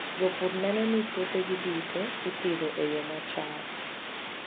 Jopur neno ni puothegi duto ipidho e yo machal.